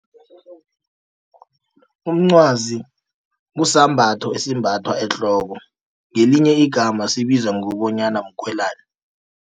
Umncwazi kusisambatho esimbathwa ehloko, ngelinye igama sibizwa ngokobonyana mkoyilana.